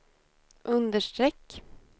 understreck